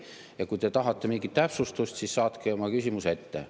Ja kui te tahate mingit täpsustust, siis saatke oma küsimus ette.